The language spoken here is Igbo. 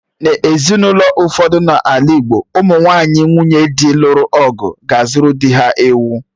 N'ezinụlọ ụfọdụ dị n'ala Igbo ụmụ nwunye dị luru ọgụ ga-azuru dị ha ewu